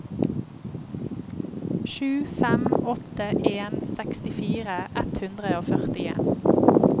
sju fem åtte en sekstifire ett hundre og førtien